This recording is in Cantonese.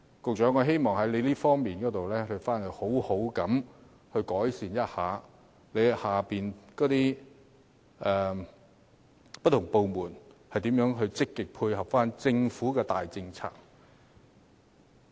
局長，我希望你能在這方面好好改善，看看轄下不同部門如何可以積極配合政府的大政策。